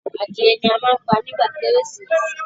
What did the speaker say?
Adìẹ ni a má ń pa nígba kérésìmesì.